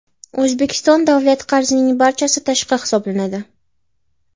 O‘zbekiston davlat qarzining barchasi tashqi hisoblanadi.